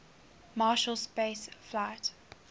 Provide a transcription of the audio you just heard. marshall space flight